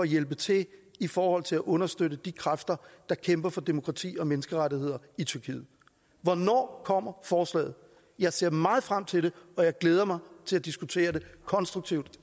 hjælpe til i forhold til at understøtte de kræfter der kæmper for demokrati og menneskerettigheder i tyrkiet hvornår kommer forslaget jeg ser meget frem til det og jeg glæder mig til at diskutere det konstruktivt